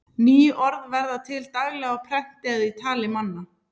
Ný orð verða til daglega á prenti eða í tali manna.